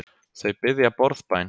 Þau biðja borðbæn.